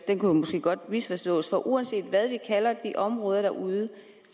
kunne måske godt misforstås for uanset hvad vi kalder de områder derude